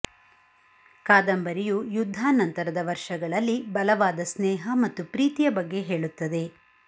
ಕಾದಂಬರಿಯು ಯುದ್ಧಾನಂತರದ ವರ್ಷಗಳಲ್ಲಿ ಬಲವಾದ ಸ್ನೇಹ ಮತ್ತು ಪ್ರೀತಿಯ ಬಗ್ಗೆ ಹೇಳುತ್ತದೆ